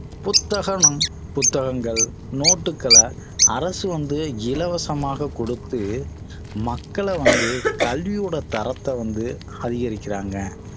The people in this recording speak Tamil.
புத்தகனும் புத்தகங்கள் நோட்டுகள அரசு வந்து இலவசமாக குடுத்து மக்கள வந்து கல்வியோட தரத்தை வந்து அதிகரிக்கிறாங்க